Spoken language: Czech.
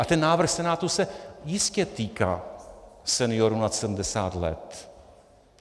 A ten návrh Senátu se jistě týká seniorů nad 70 let.